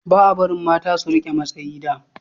ba a barin mata su rike matsayi da